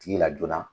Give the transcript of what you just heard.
Tigi la joona